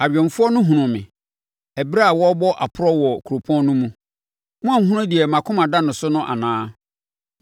Awɛmfoɔ no hunuu me ɛberɛ a wɔrebɔ aprɔ wɔ kuropɔn no mu. “Moahunu deɛ mʼakoma da no so no anaa?”